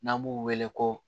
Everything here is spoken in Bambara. N'an b'u wele ko